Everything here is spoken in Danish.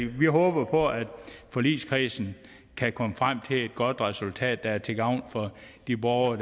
vi håber på at forligskredsen kan komme frem til et godt resultat der er til gavn for de borgere